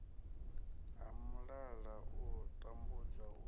ha mulala u tambudzwa u